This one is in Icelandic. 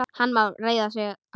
Hann má reiða sig á.